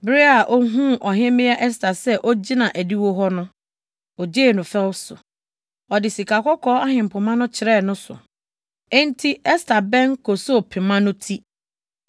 Bere a ohuu Ɔhemmea Ɛster sɛ ogyina adiwo hɔ no, ogyee no fɛw so. Ɔde sikakɔkɔɔ ahempema no kyerɛɛ ne so. Enti Ɛster bɛn kosoo pema no ti.